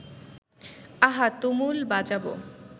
আহা তুমুল বাজাবো